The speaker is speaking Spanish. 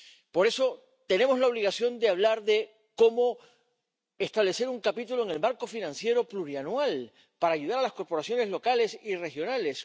Por eso, tenemos la obligación de hablar de cómo establecer un capítulo en el marco financiero plurianual para ayudar a las corporaciones locales y regionales.